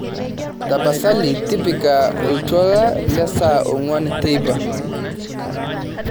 tapasali tipika oltuala le saa onguan teipa